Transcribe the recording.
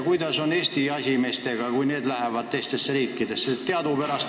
Kuidas on Eesti jahimeestega, kui nemad lähevad teistesse riikidesse?